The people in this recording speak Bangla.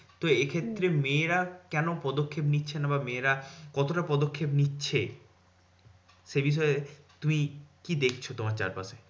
তো এই ক্ষেত্রে মেয়েরা কেন পদক্ষেপ নিচ্ছে না বা মেয়েরা কতটা পদক্ষেপ নিচ্ছে? সে বিষয়ে তুমি কি দেখছো তোমার চারপাশে?